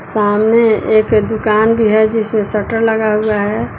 सामने एक दुकान भी है जिसमें शटर लगा हुआ है।